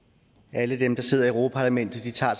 alle dem der sidder i europa parlamentet tager